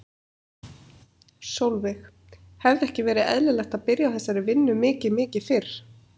Sólveig: Hefði ekki verið eðlilegt að byrja á þessari vinnu mikið mikið fyrr?